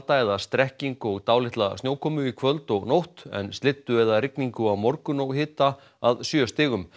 eða strekking og dálitla snjókomu í kvöld og nótt en slyddu eða rigningu á morgun og hita að sjö stigum